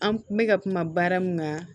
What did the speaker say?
An kun bɛ ka kuma baara min kan